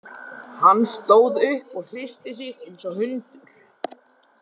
Hann stóð upp og hristi sig eins og hundur.